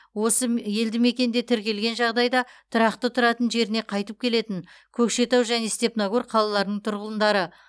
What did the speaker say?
осы елдімекенде тіркелген жағдайда тұрақты тұратын жеріне қайтып келетін көкшетау және степногор қалаларының тұрғындары